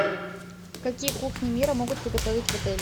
какие кухни мира могут приготовить в отеле